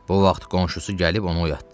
Bu vaxt qonşusu gəlib onu oyatdı.